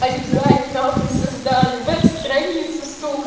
они гайд нахуй создали веб-страницу сука